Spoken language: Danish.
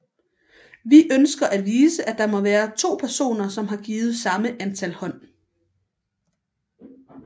Vi ønsker at vise at der må være to personer som har givet samme antal hånd